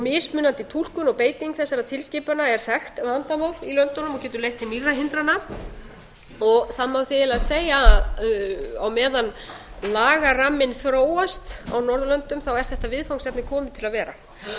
mismunandi túlkun og beiting þessara tilskipana er þekkt vandamál í löndunum og getur leitt til nýrra hindrana það má því eiginlega segja að á meðan lagaramminn þróast á norðurlöndum er þetta viðfangsefni komið til að vera